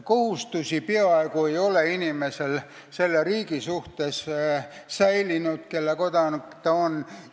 Inimesel ei ole peaaegu säilinud kohustusi selle riigi suhtes, mille kodanik ta on.